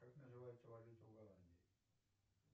как называется валюта в голландии